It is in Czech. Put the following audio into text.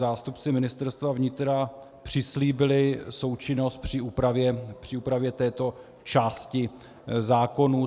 Zástupci Ministerstva vnitra přislíbili součinnost při úpravě této části zákonů.